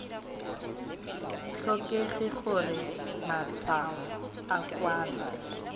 tlhokege gore matshwao a kwalwe